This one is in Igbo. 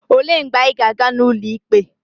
Olee mgbe anyị ga-aga n'ụlọ ikpe?